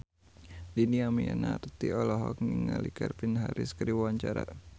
Dhini Aminarti olohok ningali Calvin Harris keur diwawancara